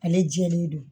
Ale jɛlen don